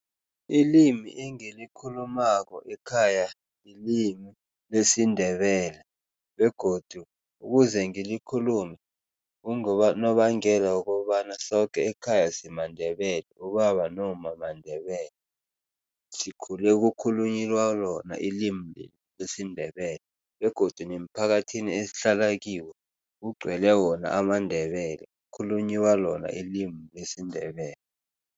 Ilimi engilikhulumako ekhaya lilimi lesiNdebele begodu ukuze ngikhulume kungonobangela wokobana soke ekhaya simaNdebele, ubaba nomma maNdebele. Sikhule kukhulunyiwa lona ilimi lesiNdebele begodu nemphakathini esihlala kiwo kugcwele wona amaNdebele, khulunyiwa lona ilimi lesiNdebele.